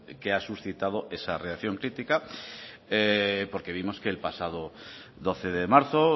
que ha suscitado esa reacción crítica porque vimos que el pasado doce de marzo